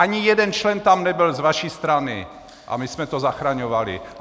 Ani jeden člen tam nebyl z vaší strany a my jsme to zachraňovali.